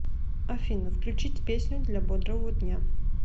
афина включить песню для бодрого дня